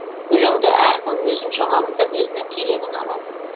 өлеңді әркім өзінше қабылдап өзіне керегін алады